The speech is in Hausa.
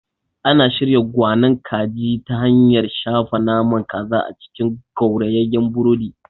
Ana shirya kwanon kaji ta hanyar shafa naman kaza a cikin gaurayeyen burodi.